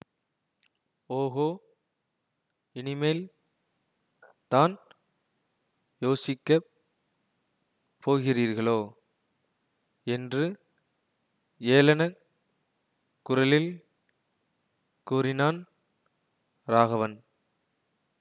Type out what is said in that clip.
ஓஹோ இனிமேல் தான் யோசிக்கப் போகிறீர்களோ என்று ஏளனக் குரலில் கூறினான் ராகவன்